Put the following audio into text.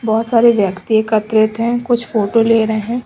बहोत सारे व्यक्ति एकत्रित है कुछ फोटो ले रहे है।